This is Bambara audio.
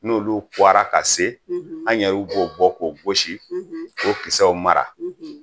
N'olu kuwara ka se an yɛrɛ b'olu bɔ k'olu gosi k'o kisɛw mara